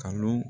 Kalon